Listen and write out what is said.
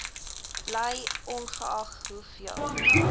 bly ongeag hoeveel